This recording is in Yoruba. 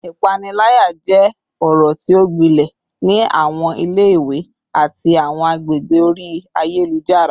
Ipanilaya jẹ ọrọ ti o gbilẹ ni awọn ile-iwe ati awọn agbegbe ori ayelujara